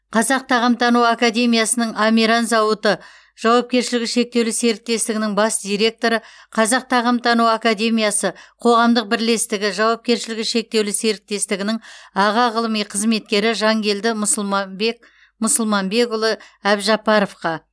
қазақ тағамтану академиясының амиран зауыты жауапкершілігі шектеулі серіктестігінің бас директоры қазақ тағамтану академиясы қоғамдық бірлестігі жауапкершілігі шектеулі серіктестігінің аға ғылыми қызметкері жанкелді мұсылмабек мұсылманбекұлы әбжаппаровқа